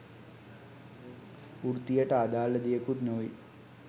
වෘත්තියට අදාළ දෙයකුත් නොවෙයි.